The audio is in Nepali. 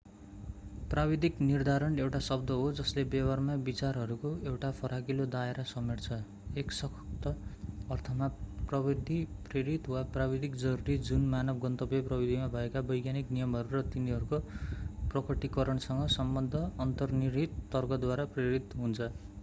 प्राविधिक निर्धारण एउटा शब्द हो जसले व्यवहारमा विचारहरूको एउटा फराकिलो दायरा समेट्छ एक सख्त अर्थमा प्रविधि-प्रेरित वा प्राविधिक जरुरी जुन मानव गन्तव्य प्रविधिमा भएका वैज्ञानिक नियमहरू र तिनीहरूको प्रकटीकरणसँग सम्बद्ध अन्तर्निहित तर्कद्वारा प्रेरित हुन्छ